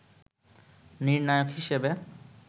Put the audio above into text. নির্ণায়ক হিসেবে